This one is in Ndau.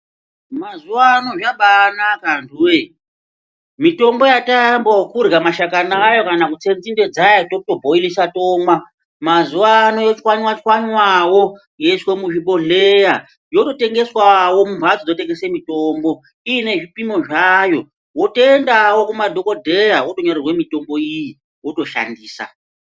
Mazuwano zvabanaka antuwoye mitombo yataamba okurya mashakani ayo kana kutse nzinde dzayo totobhoilisa tomwa mazuwano yochwanywa chwanywawo yoiswa muzvibhodhleya yototengeswawo mumbatso dzinotengeswe mutombo iine zvipimo zvayo wotoendawo kumadhokodheya wotonyorerwe mitombo iyi wotoshandisa.